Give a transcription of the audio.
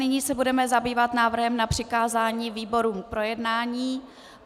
Nyní se budeme zabývat návrhem na přikázání výborům k projednání.